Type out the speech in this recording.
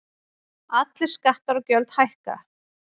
Allir skattar og gjöld hækka